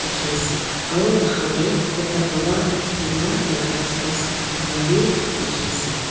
dikhi ase aro bahar de ekta baba uthi gina tai laga juta sapha kuria b dikhi ase.